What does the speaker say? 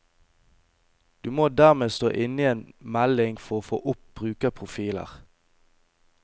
Du må dermed stå inne i en melding for å få opp brukerprofiler.